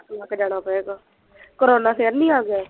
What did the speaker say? ਮੁੱਕ ਜਾਣਾ ਫੇਰ ਤਾਂ ਕੋਰੋਨਾ ਫੇਰ ਨਹੀਂ ਆ ਗਿਆ